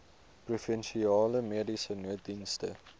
provinsiale mediese nooddienste